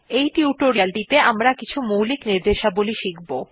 এই টিউটোরিয়ালেটিতে আমরা কিছু মৌলিক র্নিদেশাবলী শিখব